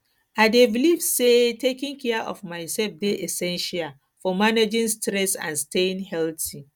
i dey believe say taking care of myself dey essential for managing stress and staying healthy